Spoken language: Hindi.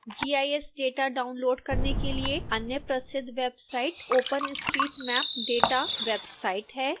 gis data डाउनलोड़ करने के लिए अन्य प्रसिद्ध वेबसाइट openstreetmap data वेबसाइट है